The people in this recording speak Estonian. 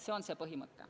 See on see põhimõte.